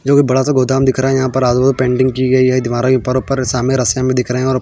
जो की बड़ासा गोदाम दिख रहा है यहाँ पर आजुबाजु पेटिंग की गयी है दीवारोंके ऊपर ऊपर सामने रस्सिया भी दिख रही है और --